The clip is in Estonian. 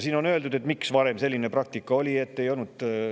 Siin on, miks selline praktika oli varem kasutusel.